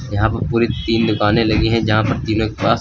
यहां पर पूरी तीन दुकानें लगी हैं जहां पर तीनों के पास--